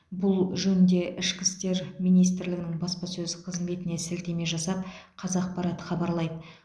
бұл жөнінде ішкі істер министрлігінің баспасөз қызметіне сілтеме жасап қазақпарат хабарлайды